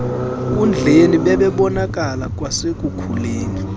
nkundleni bebebonakala kwasekukhuleni